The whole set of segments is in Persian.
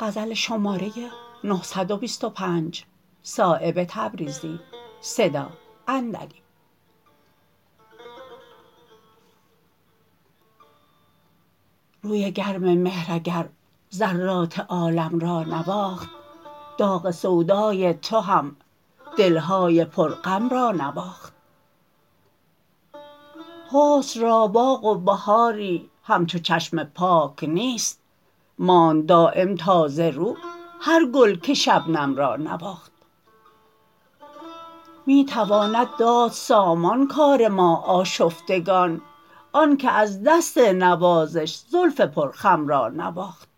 روی گرم مهر اگر ذرات عالم را نواخت داغ سودای تو هم دل های پر غم را نواخت حسن را باغ و بهاری همچو چشم پاک نیست ماند دایم تازه رو هر گل که شبنم را نواخت می تواند داد سامان کار ما آشفتگان آن که از دست نوازش زلف پر خم را نواخت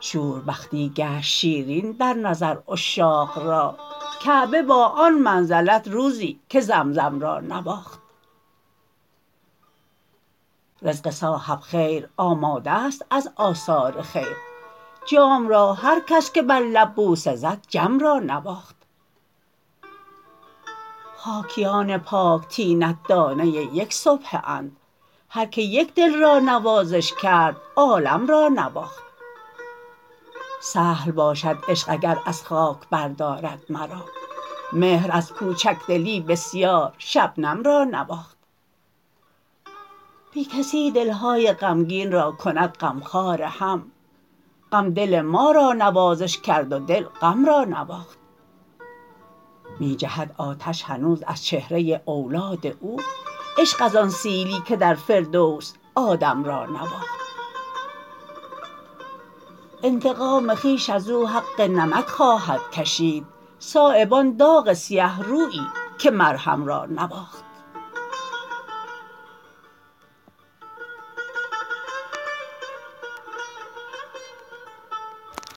شوربختی گشت شیرین در نظر عشاق را کعبه با آن منزلت روزی که زمزم را نواخت رزق صاحب خیر آماده است از آثار خیر جام را هر کس که بر لب بوسه زد جم را نواخت خاکیان پاک طینت دانه یک سبحه اند هر که یک دل را نوازش کرد عالم را نواخت سهل باشد عشق اگر از خاک بردارد مرا مهر از کوچک دلی بسیار شبنم را نواخت بی کسی دل های غمگین را کند غمخوار هم غم دل ما را نوازش کرد و دل غم را نواخت می جهد آتش هنوز از چهره اولاد او عشق از آن سیلی که در فردوس آدم را نواخت انتقام خویش از او حق نمک خواهد کشید صایب آن داغ سیه رویی که مرهم را نواخت